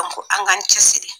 An k'an cɛsiri.